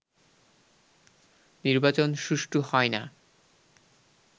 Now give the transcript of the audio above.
নির্বাচন সুষ্ঠু হয় না